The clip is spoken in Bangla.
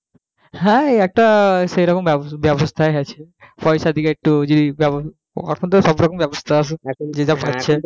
হ্যাঁ ওই একটা সেই রকম ব্যবস্থা ব্যবস্থায় আছে পয়সা দিয়ে একটু যদি ব্যবস্থা এখন তো সব রকম ব্যবস্থা আছে যে যা করছে,